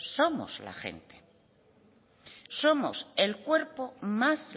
somos la gente somos el cuerpo más